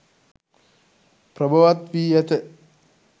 ප්‍රභවත් වී ඇත.